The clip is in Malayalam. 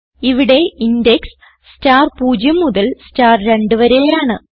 ഇവിടെ ഇൻഡെക്സ് സ്റ്റാർ 0 മുതൽ സ്റ്റാർ 2വരെ ആണ്